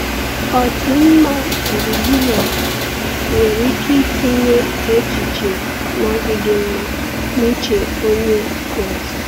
Ọdịmma gburugburu a nwere ike itinye echiche na-adịghị mma n’uche Onye Kraịst.